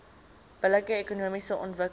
billike ekonomiese ontwikkeling